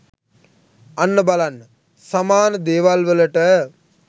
අන්න බලන්න සමාන ‍දේවල් වලට